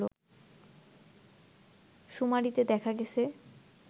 শুমারিতে দেখা গেছে